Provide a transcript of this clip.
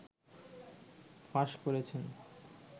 ফাঁস করেছেন